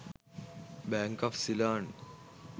Bank of ceylon